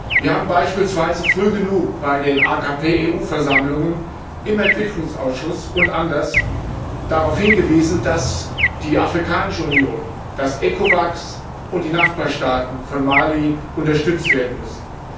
Wir haben beispielsweise früh genug bei den AKP EU Versammlungen im Entwicklungsausschuss und anderswo darauf hingewiesen, dass die Afrikanische Union, dass ECOWAS und die Nachbarstaaten von Mali unterstützt werden müssen.